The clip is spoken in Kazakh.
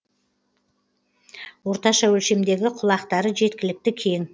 орташа өлшемдегі құлақтары жеткілікті кең